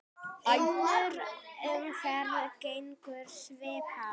Önnur umferð gengur svipað vel.